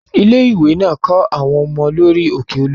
Ilé-ìwé náà kó àwọn ọmọ lọ rí òkè Olúmọ.